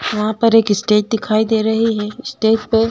वहाँ पर एक स्टेज दिखाई दे रही है स्टेज पे --